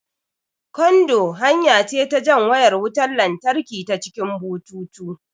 Kando hanya ce jan wayar wutan latraki ta cikin bututu